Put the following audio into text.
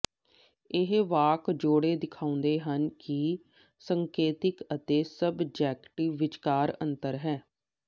ਇਹ ਵਾਕ ਜੋੜੇ ਦਿਖਾਉਂਦੇ ਹਨ ਕਿ ਸੰਕੇਤਕ ਅਤੇ ਸਬਜੈਕਟਿਵ ਵਿਚਕਾਰ ਅੰਤਰ ਹੈ